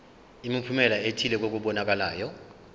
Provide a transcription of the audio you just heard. imiphumela ethile kokubonakalayo